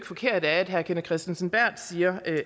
forkert af at herre kenneth kristensen berth siger